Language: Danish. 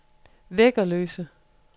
Væggerløse